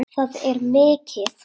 Það er mikið.